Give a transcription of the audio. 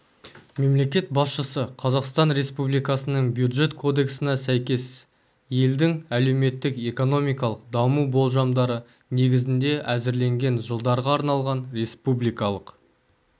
мемлекет басшысы қазақстан республикасының бюджет кодексіне сәйкес елдің әлеуметтік-экономикалық даму болжамдары негізінде әзірленген жылдарға арналған республикалық